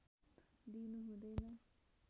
दिनु हुँदैन